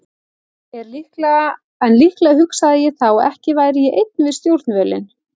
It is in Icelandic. En líklega hugsaði ég þá að ekki væri ég einn við stjórnvölinn.